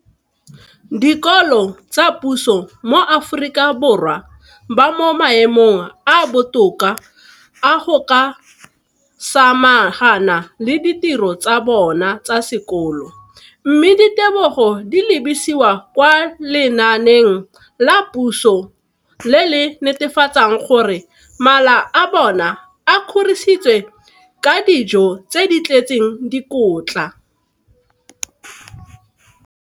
dikolo tsa puso mo Aforika Borwa ba mo maemong a a botoka a go ka samagana le ditiro tsa bona tsa sekolo, mme ditebogo di lebisiwa kwa lenaaneng la puso le le netefatsang gore mala a bona a kgorisitswe ka dijo tse di tletseng dikotla.